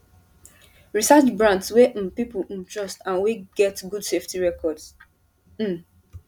research brands wey um people um trust and wey get good safety record um